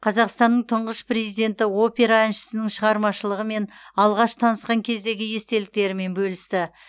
қазақстанның тұңғыш президенті опера әншісінің шығармашылығымен алғаш танысқан кездегі естеліктерімен бөлісті